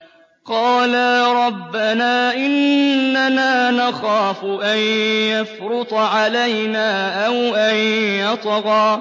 قَالَا رَبَّنَا إِنَّنَا نَخَافُ أَن يَفْرُطَ عَلَيْنَا أَوْ أَن يَطْغَىٰ